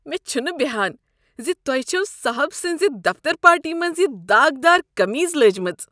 مےٚ چُھنہٕ بیہان ز تۄہہ چھوٕ صاحب سٕنزِ دفتر پارٹی منٛز یِہ داغدار قمیز لٲجمٕژ۔